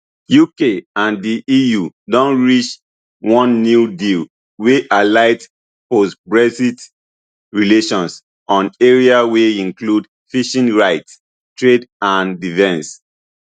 uk and di eu don reach one new deal wey highlight postbrexit relations on areas wey include fishing rights trade and defence